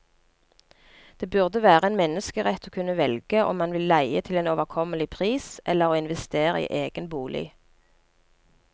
Det burde være en menneskerett å kunne velge om man vil leie til en overkommelig pris, eller å investere i egen bolig.